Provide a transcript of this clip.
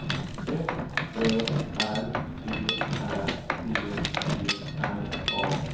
F Ö R B Ä T T R A